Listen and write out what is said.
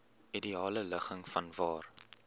ideale ligging vanwaar